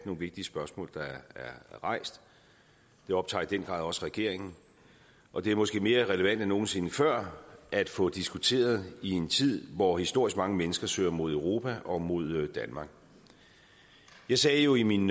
nogle vigtige spørgsmål der er rejst det optager i den grad også regeringen og det er måske mere relevant end nogen sinde før at få diskuteret i en tid hvor historisk mange mennesker søger mod europa og mod danmark jeg sagde jo i min